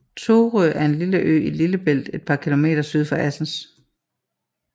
Thorø er en lille ø i Lillebælt et par kilometer syd for Assens